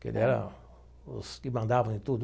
Que ele era os que mandavam em tudo.